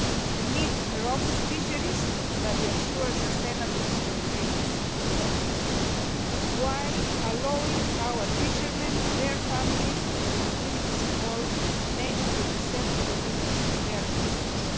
We need robust fisheries that ensure sustainable exploitation of the resources while allowing our fishermen, their families and the communities involved to make a decent living from their activities.